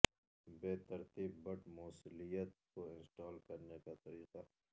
بے ترتیب بٹ موصلیت کو انسٹال کرنے کا طریقہ